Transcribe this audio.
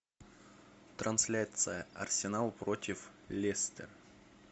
трансляция арсенал против лестер